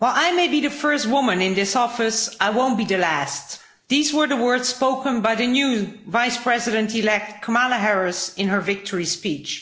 Mr President, while I may be the first woman in this office, I won't be the last'. These were the words spoken by the new Vice President elect Kamala Harris in her victory speech.